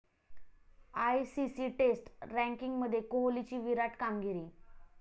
ICC test रँकिंगमध्ये कोहलीची 'विराट' कामगिरी